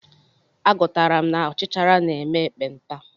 Agụtara m na ọchichara na-eme ekpenta.